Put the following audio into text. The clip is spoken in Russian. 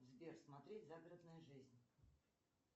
сбер смотреть загородная жизнь